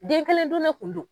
Den kelen dun ne kun don